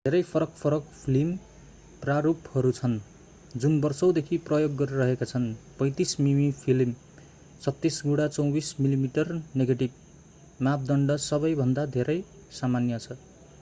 धेरै फरक-फरक फिल्म प्रारूपहरू छन् जुन वर्षौंदेखि प्रयोग गरिएका छन्। 35 मिमी फिल्म 36 गुणा 24 मिमी नेगेटिभ मापदण्ड सबैभन्दा धेरै सामान्य छ।